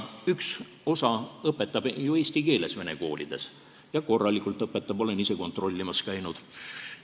Üks osa õpetab ju vene koolis eesti keeles ja korralikult õpetab, olen ise kontrollimas käinud.